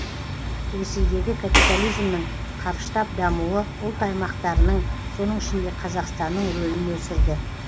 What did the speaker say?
ресейдегі капитализмнің қарыштап дамуы ұлт аймақтарының соның ішінде қазақстанның рөлін өсірді